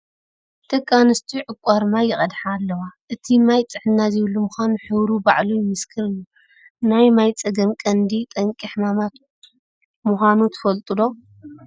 ደቂ ኣንስትዮ ዕቋር ማይ ይቀድሓ ኣለዋ፡፡ እቲ ማይ ጥዕና ዘይብሉ ምዃኑ ሕብሩ ባዕሉ ይምስክር እዩ፡፡ ናይ ማይ ፀገም ቀንዲ ጠንቂ ሕማማት ምዃኑ ትፈልጡ ዶ?